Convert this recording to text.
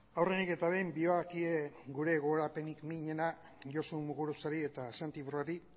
aurrenik eta behin doakie gure gogorapenik minena josu muguruzari eta santi brouard